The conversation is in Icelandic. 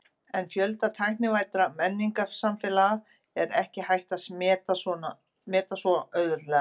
En fjölda tæknivæddra menningarsamfélaga er ekki hægt að meta svo auðveldlega.